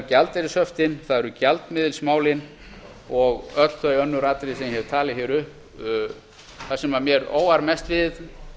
gjaldeyrishöftin gjaldmiðilsmálin og öll þau önnur atriði sem ég hef talið hér upp það sem mér óar mest við